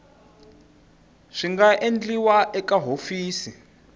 swi nga endliwa eka hofisi